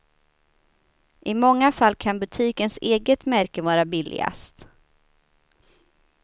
I många fall kan butikens eget märke vara billigast.